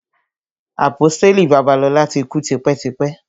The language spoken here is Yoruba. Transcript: Àpọ́stélì Babalola ti kú tipẹ́ tipẹ́.